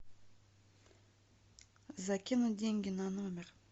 закинуть деньги на номер